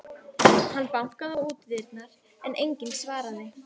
Hann bankaði á útidyrnar, en enginn svaraði.